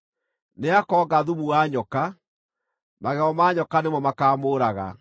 Nĩakoonga thumu wa nyoka; magego ma nyoka nĩmo makaamũũraga.